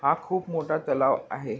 हा खूप मोठा तलाव आहे.